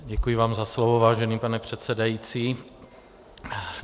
Děkuji vám za slovo, vážený pane předsedající.